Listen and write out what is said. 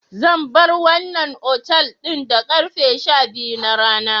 Zan bar wannan otal ɗin da karfe sha-biyu na rana.